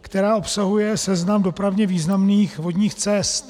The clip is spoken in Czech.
která obsahuje seznam dopravně významných vodních cest.